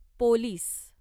police